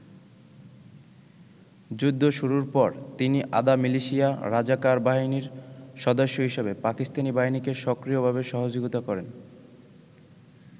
যুদ্ধ শুরুর পর তিনি আধা মিলিশিয়া রাজাকার বাহিনীর সদস্য হিসেবে পাকিস্তানী বাহিনীকে সক্রিয়ভাবে সহযোগিতা করেন।